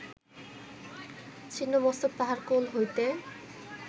ছিন্ন মস্তক তাঁহার কোল হইতে